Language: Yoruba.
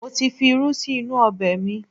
Mo ti fi irú sí inú ọbẹ̀ mi